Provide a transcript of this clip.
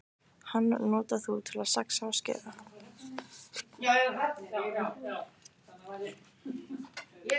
Hann notar þú til að saxa og skera.